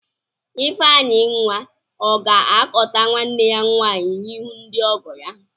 Ifenyinwa ọ ga-akọta nwanne ya nwaanyị n'ihu ndị ọgọ ya?